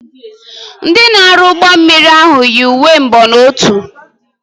Ndị na-arụ ụgbọ mmiri ahụ yi uwe mbonotu.